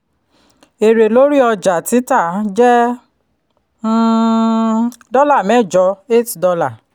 èrè lórí ọjà-títà jẹ́ um dọ́là mẹ́jọ eight dollar